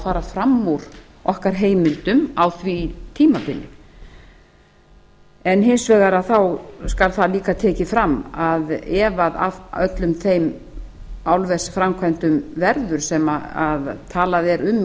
fara fram úr okkar heimildum á því tímabili en hins vegar skal það líka tekið fram að ef af öllum þeim álversframkvæmdum verður sem talað er um í